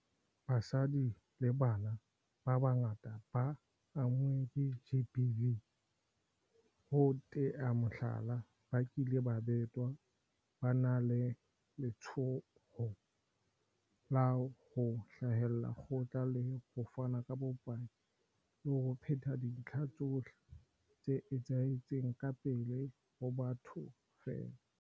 Basadi le bana ba bangata ba amuweng ke GBV, ho tea mohlala, ba kileng ba betwa, ba na le letshoho la ho hlahella kgotla le ho fana ka bopaki le ho phetha dintlha tsohle tse etsahetseng ka pele ho batho feela.